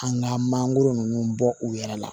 An ka mangoro ninnu bɔ u yɛrɛ la